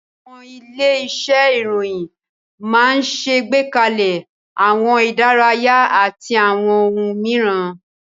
Àwọn ilé-iṣẹ́ ìròyìn máa ń ṣẹ̀gbékalẹ̀ àwọn ìdárayá àti àwọn ohun mìíràn.